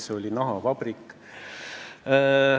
See oli nahavabrik.